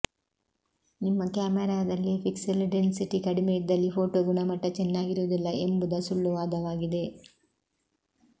ನಿಮ್ಮ ಕ್ಯಾಮೆರಾದಲ್ಲಿ pixel density ಕಡಿಮೆ ಇದ್ದಲ್ಲಿ ಫೋಟೋ ಗುಣಮಟ್ಟ ಚೆನ್ನಾಗಿರುವುದಿಲ್ಲ ಎಂಬುದ ಸುಳ್ಳು ವಾದವಾಗಿದೆ